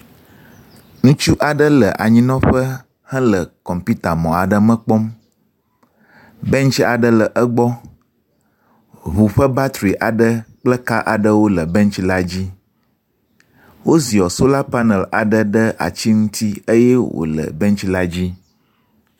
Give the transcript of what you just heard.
Ŋutsu aɖe le anyinƒe hele kɔmputa mɔ aɖe me kpɔm. Bentsi aɖe le egbɔ. Ŋu ƒe batri aɖe kple ka aɖe le bentsi la dzi. Wo ziɔ sola panel aɖe ɖe ati la ŋuti eye wo le bentsi la dzi.